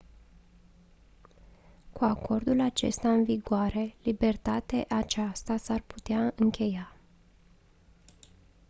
cu acordul acesta în vigoare libertate aceasta s-ar putea încheia